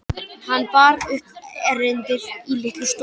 Hann bar upp erindið í litlu stofunni.